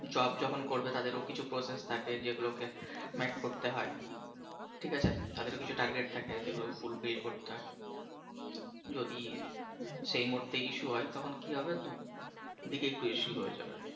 job যখন করবে তাদেরও কিছু process থাকে যেগুলোকে meet করতে হয় ঠিক আছে তাদেরও কিছু target থাকে যেগুলো fulfil করতে হয়। যদি সেই মুহূর্তে issue হয় তখন কি হবে দুদিকেই একটু issue হয়ে যাবে।